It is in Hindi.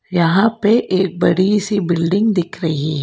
यहां पे एक बड़ी सी बिल्डिंग दिख रही--